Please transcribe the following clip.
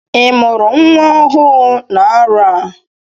Ị mụrụ nwa ọhụụ n'arọ a?